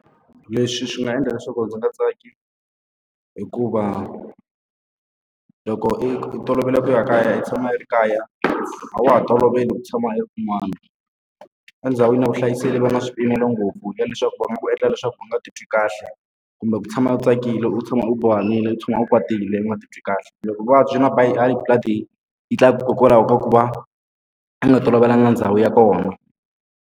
Leswi swi nga endla leswaku ndzi nga tsaki hikuva, loko i i tolovele ku ya kaya i tshama i ri kaya a wa ha toloveli ku tshama u ri kun'wan. endhawini ya vuhlayiselo va nga swi pimela ngopfu ya leswaku va nga ku endla leswaku u nga titwi kahle, kumbe ku tshama u tsakile, u tshama u bohanile, u tshama a kwatile, u nga titwi kahle. Loko vuvabyi va ba hi high blood-i yi tlakuka hikokwalaho ka ku va u nga tolovelanga ndhawu ya kona.